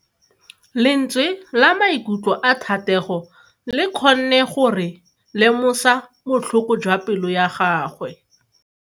Lentswe la maikutlo a Thatego le kgonne gore re lemosa botlhoko jwa pelo ya gagwe.